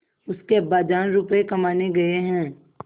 उसके अब्बाजान रुपये कमाने गए हैं